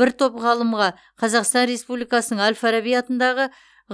бір топ ғалымға қазақстан республикасының әл фараби атындағы